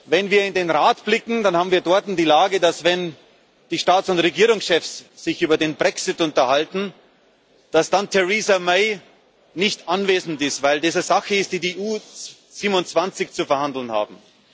Wenn wir in den Rat blicken, dann haben wir dort die Lage, dass, wenn die Staats und Regierungschefs sich über den Brexit unterhalten, dann Theresa May nicht anwesend ist, weil das eine Sache ist, die die EU 27 zu verhandeln haben.